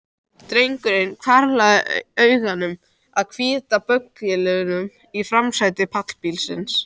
Drengurinn hvarflaði augum að hvíta bögglinum í framsæti pallbílsins.